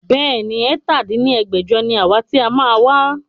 Bẹ́ẹ̀ni, ẹ̀ta dín ní ẹgbẹ́jọ ni àwa ti a máa wá